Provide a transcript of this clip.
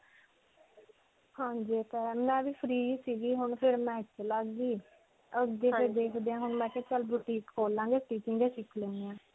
ਹਾਂਜੀ. ਮੈਂ ਵੀ free ਸੀਗੀ ਹੁਣ ਫਿਰ ਮੈਂ ਇੱਥੇ ਲੱਗ ਗਈ. ਅੱਗੇ ਦੇਖਦੇ ਹਾਂ ਹੁਣ ਮੈਂ ਕਿਹਾ ਚਲ boutique ਖੋਲ ਲਾਂਗੇ stitching ਸਿਖ ਲੈਂਦੇ ਹਾਂ.